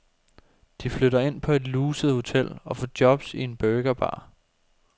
De flytter ind på et luset hotel, og får jobs i en burgerbar.